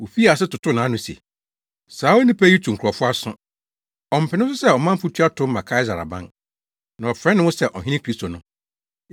Wofii ase totoo nʼano se, “Saa onipa yi tu nkurɔfo aso. Ɔmpene so sɛ ɔmanfo tua tow ma Kaesare aban, na ɔfrɛ ne ho sɛ ɔhene Kristo no.”